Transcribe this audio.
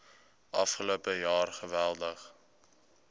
afgelope jaar geweldig